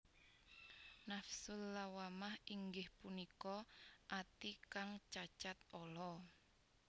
Nafsul Lawwamah inggih punika ati kang cacat ala